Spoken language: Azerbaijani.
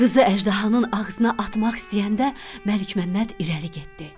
Qızı əjdahanın ağzına atmaq istəyəndə Məlikməmməd irəli getdi.